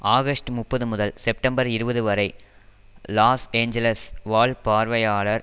August முப்பது முதல் September இருபது வரை லாஸ் ஏஞ்சல்ஸ் வாழ் பார்வையாளர்